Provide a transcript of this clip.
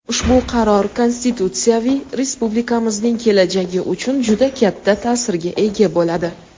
Ushbu qaror konstitutsiyaviy respublikamizning kelajagi uchun juda katta ta’sirga ega bo‘ladi.